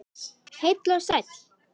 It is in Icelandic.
Heill og sæll.